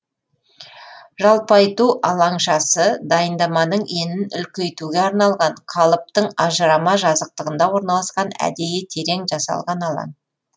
жалпайту алаңшасы дайындаманың енін үлкейтуге арналған қалыптың ажырама жазықтығында орналасқан әдейі терең жасалған алаң